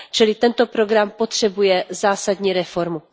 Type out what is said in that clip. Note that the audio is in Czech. Čili tento program potřebuje zásadní reformu.